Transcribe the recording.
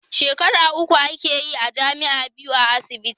Shekara uku ake yi a jami'a, biyu a asibiti